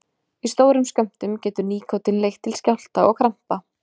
Í stórum skömmtum getur nikótín leitt til skjálfta og krampa.